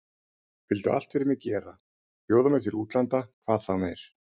Vildu allt fyrir mig gera, bjóða mér til útlanda hvað þá meir.